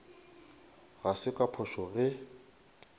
ga se ka phošo ge